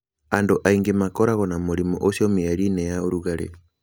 Andũ aingĩ makoragwo na mũrimũ ũcio mĩeri-inĩ ya ũrugarĩ.